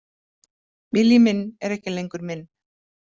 Vilji minn er ekki lengur minn.